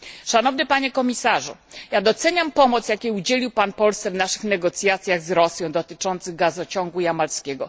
Szanowny Panie Komisarzu! Doceniam pomoc, jakiej udzielił Pan Polsce w naszych negocjacjach z Rosją dotyczących gazociągu jamalskiego.